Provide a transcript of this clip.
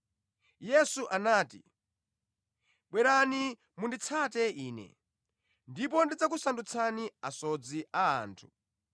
Yesu anati, “Bwerani, tsateni Ine, ndipo ndidzakusandutsani asodzi a anthu.”